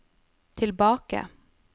tilbake